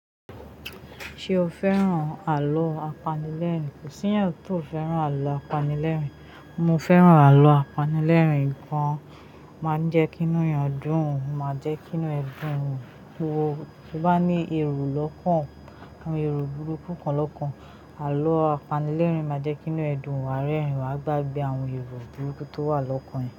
Ṣé o fẹ́ràn àlọ́ apanilẹ́rìn-ín? Kò sí èèyàn ti ò fẹ́ràn àlọ́ apanilẹ́rìn-ín. Mo fẹ́ràn àlọ́ apanilẹ́rìn-ín. Ìkàn máa jẹ́ kìn-ín nìyàn dún, máa jẹ́ kìn-ín ẹ dùn wò. Bí ó bá ní èrò lọ́kan, àwọn èrò burúkú lọ̀kan, àlọ́ apanilẹ́rìn-ín máa jẹ́ kìn-ín ẹ dùn wà á rẹ́rìn-ín, wà á gbàgbẹ́ àwọn èrò burúkú tó wà lọ́kàn ẹ.